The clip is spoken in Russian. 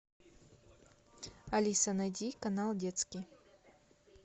алиса найди канал детский